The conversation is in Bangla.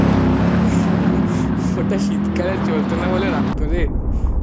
ওটা শীতকালে চলতো না বলে রাখতো রে